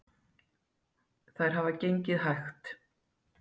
Þær hafa gengið hægt